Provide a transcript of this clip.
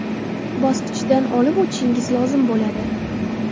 bosqichidan olib o‘tishingiz lozim bo‘ladi.